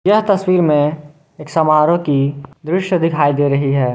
यह तस्वीर में एक समारोह की दृश्य दिखाई दे रही है।